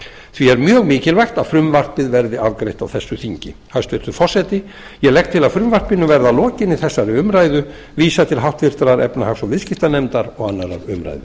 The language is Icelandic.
því er mjög mikilvægt að frumvarpið verði afgreitt á þessu þingi hæstvirtur forseti ég legg til að frumvarpinu verði að lokinni þessari umræðu vísað til háttvirtrar efnahags og viðskiptanefndar og annarrar umræðu